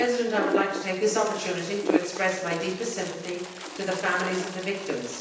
I would like to take this opportunity to express my deepest sympathy to the families of the victims.